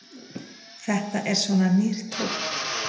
Þetta er svona nýr tónn.